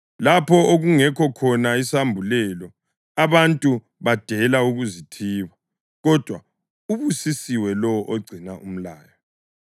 Lapho okungekho khona isambulelo, abantu badela ukuzithiba; kodwa ubusisiwe lowo ogcina umlayo.